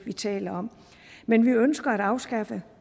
taler om men vi ønsker at afskaffe